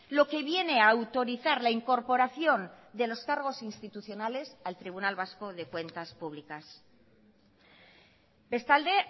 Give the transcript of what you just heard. lo que viene a autorizar la incorporación de los cargos institucionales al tribunal vasco de cuentas públicas bestalde